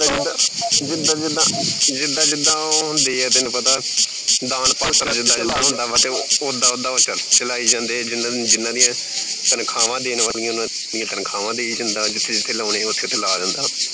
ਜਿੱਦਾ ਜਿੱਦਾ ਜਿੱਦਾ ਜਿੱਦਾ ਉਹ ਹੁੰਦੇ ਐ ਤੈਨੂੰ ਪਤਾ ਦਾਨ ਪਾਤਰ ਜਿੱਦਾ ਜਿੱਦਾ ਹੁੰਦਾ ਵਾ ਤੇ ਉੱਦਾਂ ਉੱਦਾਂ ਉਹ ਚਰਚ ਚਲਾਈ ਜਾਂਦੇ ਜਿਨ੍ਹਾਂ ਜਿਨ੍ਹਾਂ ਦੀਆਂ ਤਨਖਾਹਾਂ ਦੇਣ ਵਾਲੀਆਂ ਉਨ੍ਹਾਂ ਦੀਆਂ ਤਨਖਾਹਾਂ ਦੇਈ ਜਾਂਦਾ ਜਿਥੇ ਜਿਥੇ ਲਾਉਣੇ ਉਥੇ ਉਥੇ ਲਾ ਜਾਂਦਾ